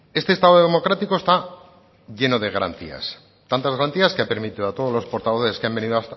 este estado democrático está lleno de garantías tantas garantías que ha permitido a todos los portavoces